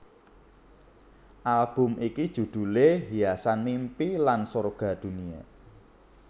Album iki judhulé Hiasan Mimpi lan Sorga Dunia